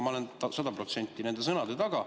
Ma olen sada protsenti nende sõnade taga.